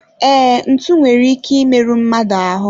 Ee, ntụ nwere ike I meru mmadụ ahu